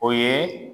O ye